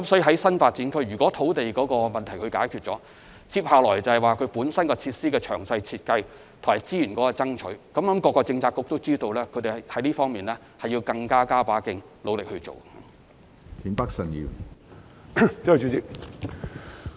在新發展區，如能解決土地問題，其後的工作就是為設施進行詳細設計及爭取資源，我相信各政策局都知道要在這方面加把勁，努力做好這項工作。